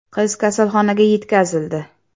Qiz kasalxonaga yetkazildi.